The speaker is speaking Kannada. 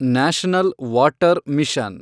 national water mission